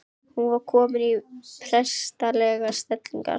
Hún var komin í prestslegar stellingar.